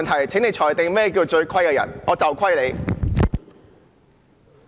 請你裁定何謂"最虧的人"？